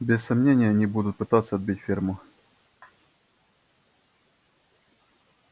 без сомнения они будут пытаться отбить ферму